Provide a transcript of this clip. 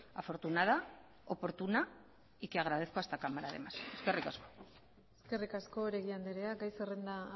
afortunada oportuna y que agradezco a esta cámara además eskerrik asko eskerrik asko oregi andrea gai zerrenda